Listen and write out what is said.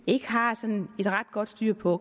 ikke har sådan ret godt styr på